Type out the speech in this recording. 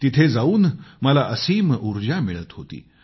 तिथं जाऊन मला असीम ऊर्जा मिळत होती